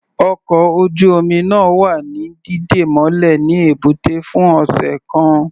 Ọkọ̀ ojú-omi náà wa ní dídè mọ́lẹ̀ ní ẹ̀bútẹ́ fún ọ̀sẹ̀ kan.